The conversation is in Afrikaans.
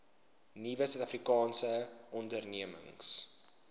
nuwe suidafrikaanse ondernemings